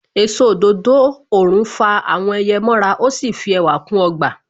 Èso òdòdó òrùn fa àwọn ẹyẹ mọ ra. Ó sì fi ẹwà kún ọgbà.